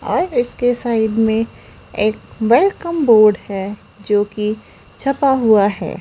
और इसके साइड में एक वेलकम बोर्ड है जो की छपा हुआ है।